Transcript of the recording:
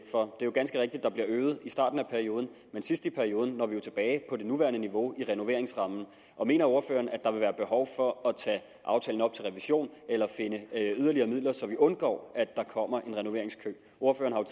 for det er ganske rigtigt at der bliver øget i starten af perioden men sidst i perioden når vi jo tilbage på det nuværende niveau i renoveringsrammen mener ordføreren at der vil være behov for at tage aftalen op til revision eller finde yderligere midler så vi undgår at der kommer en renoveringskø ordføreren